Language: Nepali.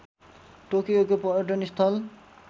टोकियोको पर्यटन स्थल